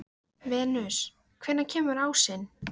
Venus, hvenær kemur ásinn?